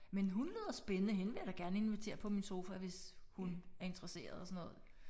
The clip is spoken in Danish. Men hun lyder spændende hende vil jeg da gerne invitere på min sofa hvis hun er interesseret og sådan noget